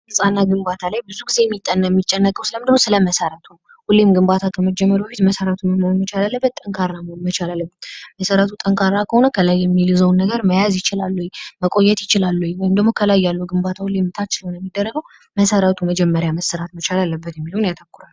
ህጻናት ግንባታ ላይ ብዙ የሚጠና የሚጨነቀው ስለምንድ ነው ስለመሰረቱ ሁሊም ግንባታ ከመጀመሩ በፊት መሰርቱ ጠንካራ መሆን መቻል አለብት። መስረቱ ጠንካራ ከሆነ ከላይ የሚይዘውን ነገር መያዝ ይችላል ወይ መቆየት ይችላል ወይ ወይም ደግሞ ከላይ ያሉ ግንባታው ሊመጣ መሰረቱ መጀመሪያ መሠራት መቻል አለበት የሚለው ያተኩራሉ።